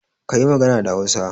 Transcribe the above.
Kayi magana da Hausa.